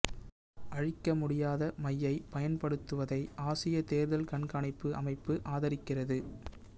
அழிக்க முடியாத மையைப் பயன்படுத்துவதை ஆசிய தேர்தல் கண்காணிப்பு அமைப்பு ஆதரிக்கிறது